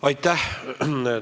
Aitäh!